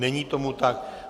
Není tomu tak.